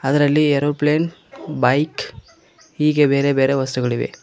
ಅದರಲ್ಲಿ aeroplane bike ಹೀಗೆ ಬೇರೆ ಬೇರೆ ವಸ್ತುಗಳಿವೆ.